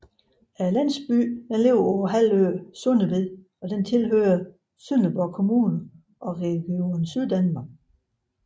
Landsbyen ligger på halvøen Sundeved og tilhører Sønderborg Kommune og Region Syddanmark